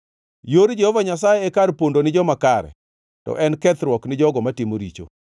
Yor Jehova Nyasaye e kar pondo ni joma kare, to en kethruok ni jogo matimo richo.